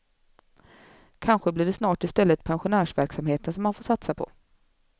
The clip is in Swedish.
Kanske blir det snart istället pensionärsverksamheten som man får satsa på.